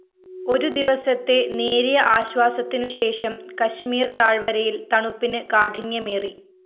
ഒരുദിവസത്തെ നേരിയ ആശ്വാസത്തിനുശേഷം കശ്മീര്‍ താഴ്‌വരയില്‍ തണുപ്പിന് കാഠിന്യമേറി